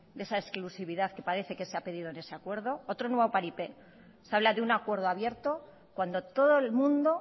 de esa exclusividad que parece que se ha pedido en ese acuerdo otro nuevo paripé se habla de un acuerdo abierto cuando todo el mundo